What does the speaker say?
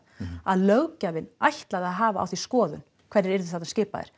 að löggjafinn ætlaði að hafa á því skoðun hverjir yrðu þarna skipaðir